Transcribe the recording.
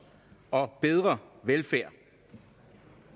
og bedre velfærd